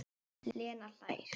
Lena hlær.